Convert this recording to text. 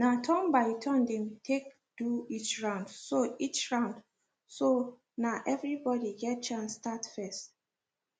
na turn by turn dem take do each round so each round so na every body get chance start first